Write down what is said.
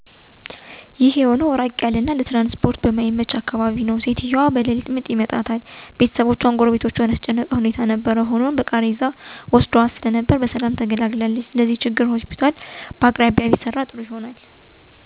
አወ ሰምቼ አቃለሁ። ይህ የሆነው በጣም ራቅ ያለ እና ለትራንስፖርት አመቺ ባልሆነ አካባቢ የተፈጠረ ችግር ነው። ሴትዮዋ ምጥ ይመጣባታል ሰዓቱ ደግሞ ሌሊት ነው፤ ቤተሰቦቹአን እንዲሁም የአካባቢውን ማህበረሰብ ያስጨነቀ ሁኔታ ነበር የተፈጠረው። ነገርግን ቦታው አመቺ ባይሆን እንኳን በቃሬዛ በማድረግ ቶሎ ወስደዋት ስለነበር በሰላም እንድትገላገል ሆኖአል። ይሄንም ችግር ለመፍታት ሆስፒታል በቅርብ አካባቢ እንዲሰራ ማድረግ ቢቻል ጥሩ ይሆናል።